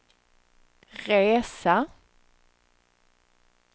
resa